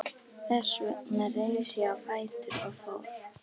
Þess vegna reis ég á fætur og fór.